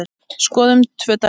Skoðum tvö dæmi.